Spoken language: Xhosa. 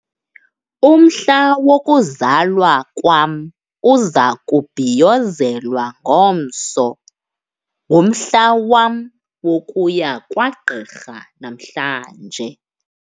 Umhla wokuzalwa kwam uza kubhiyozelwa ngomso. ngumhla wam wokuya kwagqirha namhlanje